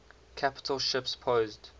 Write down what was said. capital ships posed